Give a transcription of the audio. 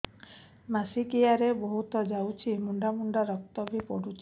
ମାସିକିଆ ରେ ବହୁତ ଯାଉଛି ମୁଣ୍ଡା ମୁଣ୍ଡା ରକ୍ତ ବି ପଡୁଛି